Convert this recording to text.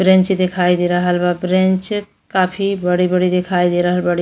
Bench दिखाई दे रहल बा। ब्रेंच काफी बड़ी बड़ी दिखाई दे रहल बाड़ी।